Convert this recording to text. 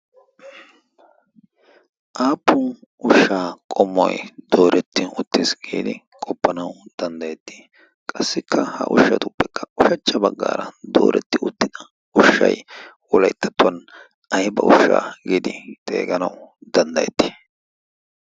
aappun ushshaa qomoi dooretti uttiis giidi qoppanau danddayettii? qassikka ha ushshatuppekka ushachcha baggaara dooretti uttida ushshai wolaittattuwan ai ba ushshaa giidi xeeganau danddayettii?